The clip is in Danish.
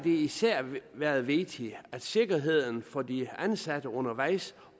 især været vigtigt at sikkerheden for de ansatte undervejs